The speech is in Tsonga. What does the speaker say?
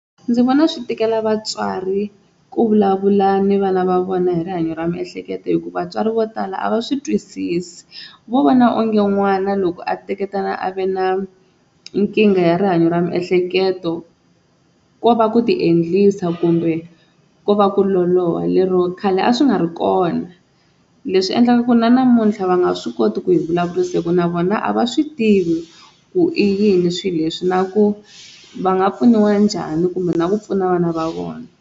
Ndzi vona swi tikela vatswari ku vulavula ni vana va vona hi rihanyo ra miehleketo hikuva vatswari vo tala a va swi twisisi vo vona onge n'wana loko a teketana a ve na nkingha ya rihanyo ra miehleketo ko va ku ti endlisa kumbe ko va ku loloha lero khale a swi nga ri kona, leswi endlaka ku na namuntlha va nga swi koti ku hi vulavurisa hi ku na vona a va swi tivi ku i yini swilo leswi na ku va nga pfuniwa njhani kumbe na ku pfuna vana va vona.